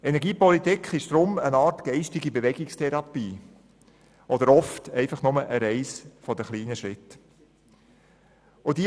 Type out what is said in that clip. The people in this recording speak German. Energiepolitik ist daher eine Art geistige Bewegungstherapie oder oft einfach nur eine Reise der kleinen Schritte.